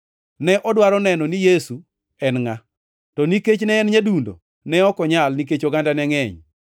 Ne odwaro neno ni Yesu en ngʼa, to nikech ne en nyadundo ne ok onyal, nikech oganda ne ngʼeny.